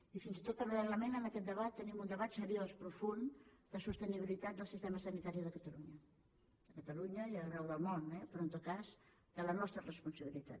i fins i tot paral·lelament a aquest debat tenim un debat seriós profund de sostenibilitat del sistema sanitari de catalunya a catalunya i arreu del món eh però en tot cas de la nostra responsabilitat